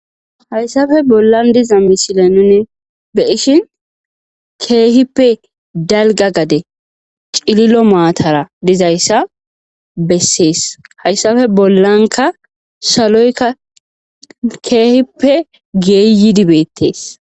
hayssafe bollan diza misile nuni beyishin keehippe dalga gade cililo maatara dizayssa bessees hayssafe bollanka saloyka keehippe geeyi dibeettees